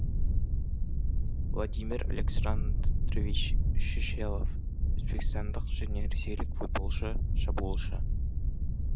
владимир александрович шишелов өзбекстандық және ресейлік футболшы шабуылшы